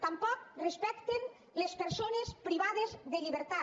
tampoc respecten les persones privades de llibertat